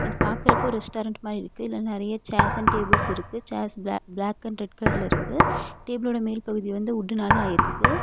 பாக்கறப்ப restaurant மாதிரி இருக்கு இதுல நெறைய சேர்ஸ் அண்ட் டேபிள்ஸ் இருக்கு chairs black black and red கலர்ல இருக்கு டேபிளோட மேல் பகுதி வந்து வுட்னால ஆயிருக்கு.